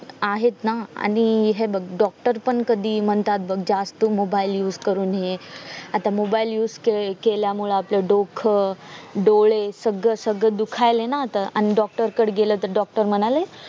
आहेत ना आणि हे बघ doctor पण कधी म्हणतात ना बघ जास्त mobile use करू नये आता mobile use केल्यामुळे आपलं डोकं डोळे सगळे सगळे दुखायले ना आता आणि doctor कडे गेल तर doctor म्हणाले